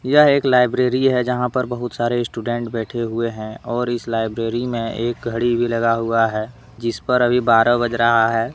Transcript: यह एक लाइब्रेरी हैजहां पर बहुत सारे स्टूडेंट बैठे हुए हैंऔर इस लाइब्रेरी में एक घड़ी भी लगा हुआ है जिस पर अभी बारह बज रहा है।